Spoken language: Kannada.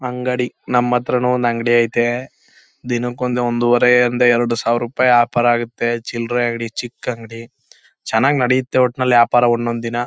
ಅಂಗಡಿ ನಮ್ಮತ್ರನು ಒಂದು ಅಂಗಡಿ ಐತೆ ದಿನಕ್ಕೊಂದು ಒಂದೂವರೆ ಯಿಂದ ಎರಡು ಸಾವಿರ ರೂಪಾಯಿ ವ್ಯಾಪಾರ ಆಗುತ್ತೆ. ಚಿಲ್ಲರೆ ಅಂಗಡಿ ಚಿಕ್ಕ ಅಂಗಡಿ . ಚೆನ್ನಾಗಿ ನಡೆಯುತ್ತೆ ಒಟ್ಟಿನಲ್ಲಿ ವ್ಯಾಪಾರ ಒಂದೊಂದು ದಿನ--